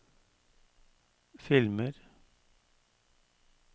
filmer